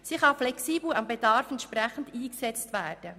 Sie kann dem Bedarf entsprechend flexibel eingesetzt werden.